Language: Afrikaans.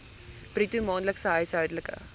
bruto maandelikse huishoudelike